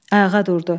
Ayağa durdu.